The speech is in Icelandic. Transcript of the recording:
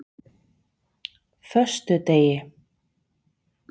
föstudegi